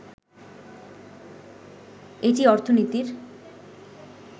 এটি অর্থনীতির